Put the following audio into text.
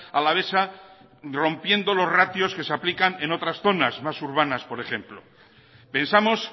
alavesa rompiendo los ratios que se aplican en otras zonas más urbanas por ejemplo pensamos